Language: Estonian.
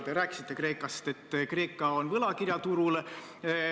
Te rääkisite, et Kreeka on võlakirjaturul.